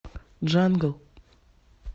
джангл